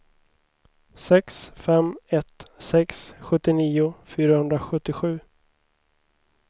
sex fem ett sex sjuttionio fyrahundrasjuttiosju